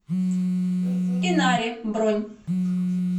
инари бронь